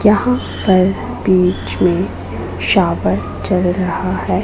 जहां पर बीच में शावर चल रहा है।